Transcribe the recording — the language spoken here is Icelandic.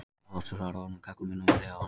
Og Flosi svarar honum: Kalla munum vér á hana.